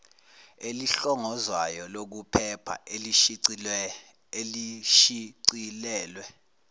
elihlongozwayo lokuphepha elishicilelwe